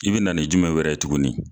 I bi na ni jumɛn wɛrɛ ye tuguni